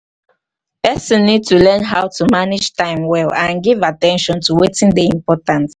person need to learn how to manage time well and give at ten tion to wetin dey important